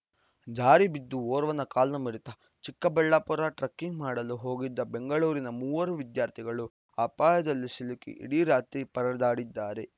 ಜಾರಿ ಬಿದ್ದು ಓರ್ವನ ಕಾಲು ಮುರಿತ ಚಿಕ್ಕಬಳ್ಳಾಪುರ ಟ್ರಕ್ಕಿಂಗ್‌ ಮಾಡಲು ಹೋಗಿದ್ದ ಬೆಂಗಳೂರಿನ ಮೂವರು ವಿದ್ಯಾರ್ಥಿಗಳು ಅಪಾಯದಲ್ಲಿ ಸಿಲುಕಿ ಇಡೀ ರಾತ್ರಿ ಪರದಾಡಿದ್ದಾರೆ